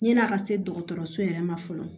Yan'a ka se dɔgɔtɔrɔso yɛrɛ ma fɔlɔ